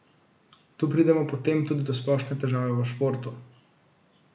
Tu pridemo potem tudi do splošne težave v športu.